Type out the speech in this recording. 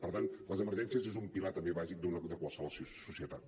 per tant les emergències és un pilar també bàsic de qualsevol societat